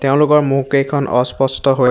তেওঁলোকৰ মুখ কেইখন অস্পষ্ট হৈ --